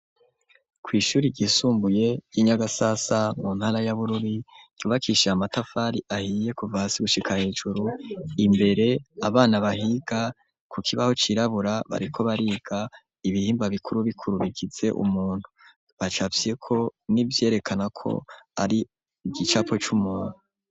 Kw'ishuri gisumbuye y'inyagasasa mu ntara y'abururi yubakisha ye amatafari ahiye kuva si gushika hejuru imbere abana bahiga ku kibaho cirabura bariko bariga ibihimba bikuru bikuru bigize umuntu bacavyeko n'ivyerekanako ari igicapo cuma ma.